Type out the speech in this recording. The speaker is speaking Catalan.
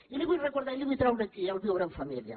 i li vull recordar i li vull treure aquí el viure en família